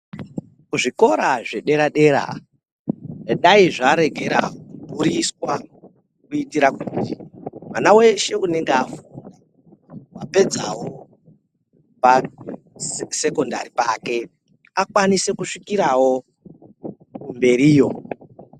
Zvikora zvedera-dera dai zvarekera kudhuriswa, kuitira kuti mwana weshe unenge afunda, akapedzawo pasekhondari pake akwanise kusvikirawo mberiyo.